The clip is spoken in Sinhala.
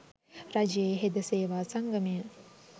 රජයේ හෙද සේවා සංගමය,